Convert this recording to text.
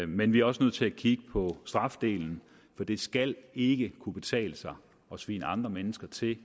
men vi er også nødt til at kigge på strafdelen for det skal ikke kunne betale sig at svine andre mennesker til